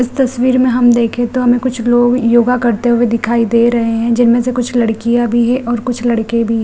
इस तस्वीर में हम देखे तो हमें कुछ लोग योगा करते हुए दिखाई दे रहे हैं जिनमें से कुछ लड़कियाँ भी हैं और कुछ लड़के भी।